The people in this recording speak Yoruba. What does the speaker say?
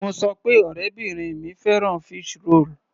Mo sọ pé ọ̀rẹ́bìrin mi fẹ́ràn fish roll.